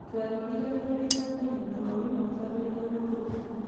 Twekorire twĩ gĩtanda-inĩ na o rĩmwe akĩambĩrĩria gũthũkia.